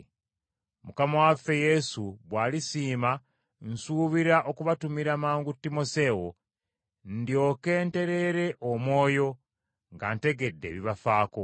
Mukama waffe Yesu bw’alisiima nsuubira okubatumira mangu Timoseewo, ndyoke ntereere omwoyo nga ntegedde ebibafaako.